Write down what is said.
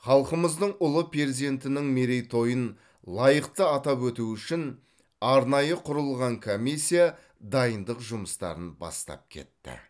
халқымыздың ұлы перзентінің мерейтойын лайықты атап өту үшін арнайы құрылған комиссия дайындық жұмыстарын бастап кетті